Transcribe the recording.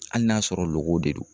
Hali n'a sɔrɔ lokow de don.